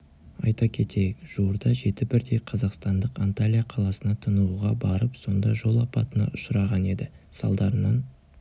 айта кетейік жуырда жеті бірдей қазақстандық анталия қаласына тынығуға барып сонда жол апатына ұшыраған еді салдарынан